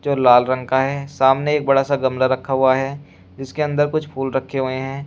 वो लाल रंग का है सामने एक बड़ा सा गमला रखा हुआ है जिसके अंदर कुछ फूल रखे हुए हैं।